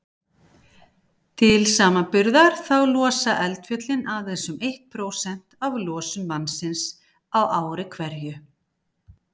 Til samanburðar þá losa eldfjöllin aðeins um eitt prósent af losun mannsins á ári hverju.